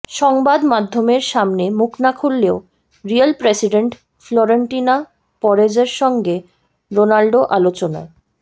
সংবাদ মাধ্যমের সামনে মুখ না খুললেও রিয়াল প্রেসিডেন্ট ফ্লোরেন্তিনো পেরেজের সঙ্গে রোনাল্ডো আলোচনায়